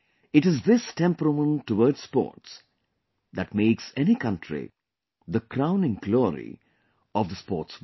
It is this temperament towards sports that makes any country the crowning glory of the sports world